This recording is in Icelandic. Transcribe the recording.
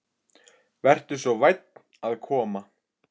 Vertu svo vænn að koma.